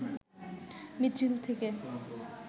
মিছিল থেকে